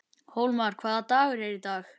Hólmar, hvaða dagur er í dag?